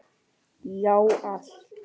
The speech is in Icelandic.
Já, allt.